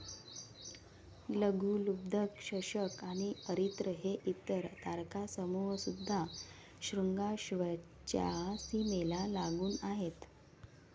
लघुलुब्धक, शशक आणि अरित्र हे इतर तारकासमूह सुद्धा श्रुंगाश्वच्या सीमेला लागून आहेत.